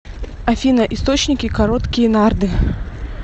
афина источники короткие нарды